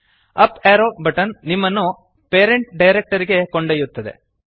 up arrow button ನಿಮ್ಮನ್ನು parent directory ಗೆ ಕರೆದೊಯ್ಯುತ್ತದೆ